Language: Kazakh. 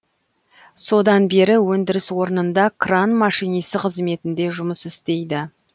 содан бері өндіріс орнында кран машинисі қызметінде жұмыс істейді